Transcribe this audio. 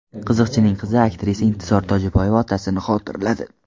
Qiziqchining qizi aktrisa Intizor Tojiboyeva otasini xotirladi.